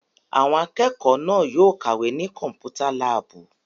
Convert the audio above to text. Àwọn akẹ́kọ̀ọ́ náà yóò kàwé ní Kọ́mpútà láàbù!